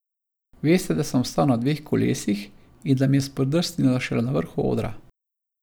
Veste, da sem ostal na dveh kolesih in da mi je spodrsnilo šele na vrhu odra.